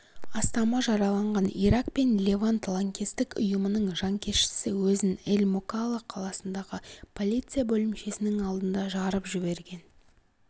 астамы жараланған ирак пен левант лаңкестік ұйымының жанкештісі өзін эль-мукалла қаласындағы полиция бөлімшесінің алдында жарып жіберген